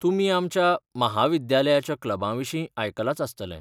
तुमी आमच्या म्हाविद्यालयाच्या क्लबांविशीं आयकलांच आसतलें.